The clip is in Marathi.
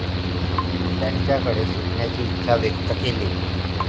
त्यांच्याकडे शिकण्याची इच्छा व्यक्त केली.